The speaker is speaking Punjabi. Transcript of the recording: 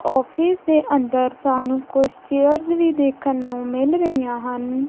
ਔਫਿਸ ਦੇ ਅੰਦਰ ਸਾਨੂੰ ਕੁੱਛ ਚੇਅਰਜ਼ ਵੀ ਦੇਖਣ ਨੂੰ ਮਿਲ ਰਹੀਆਂ ਹਨ।